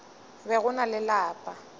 be go na le lapa